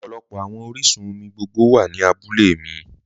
Ọpọlọpọ awọn oriṣun-omi gbogbo wa ni àbúlẹ̀ mi